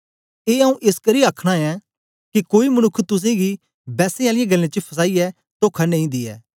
ए आऊँ ए एसकरी आ आखना ऐं के कोई मनुक्ख तुसेंगी बैसें आलियें गल्लें च फसाईयै तोखा न दियै